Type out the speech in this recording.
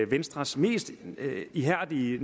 venstres mest ihærdige